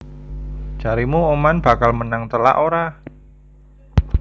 Jaremu Oman bakal menang telak ora?